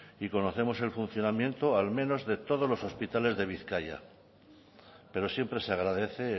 y conocemos el funcionamiento al menos de todos los hospitales de bizkaia pero siempre se agradece